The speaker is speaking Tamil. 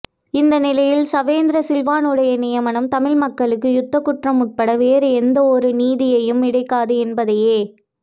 இந்த நிலையில் சவேந்திர சில்வாவினுடைய நியமனம் தமிழ்மக்களுக்கு யுத்தக் குற்றம் உட்பட வேறு எந்த ஒரு நீதியும் இடைக்காது என்பதையே